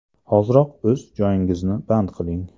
Hoziroq o‘z joyingizni band qiling!